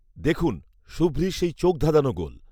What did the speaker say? দেখুন, সুব্রির সেই চোখধাঁধানো গোল